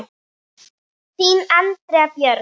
Þín, Andrea Björg.